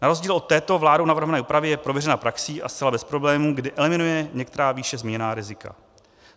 Na rozdíl od této vládou navrhované úpravy je prověřena praxí a zcela bez problémů, kdy eliminuje některá výše zmíněná rizika.